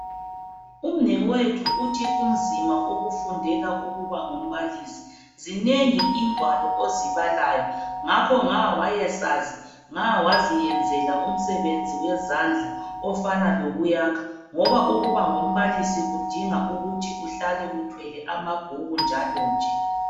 Umnewethu uthi kunzima ukufundela ukuba ngumbalisi. Zinengi ingwalo ozibalayo ngakho nga wayekwazi nga waziyenzela umsebenzi wezandla ofana lokuyakha ngoba ukuba ngumbalisi kudinga ukuthi uhlal uthwele amabhuku njalo nje.